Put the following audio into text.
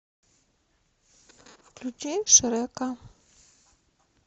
включи шрека